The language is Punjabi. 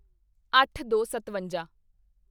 ਅੱਠਦੋਸਤਵੰਜਾ